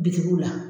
Bitikiw la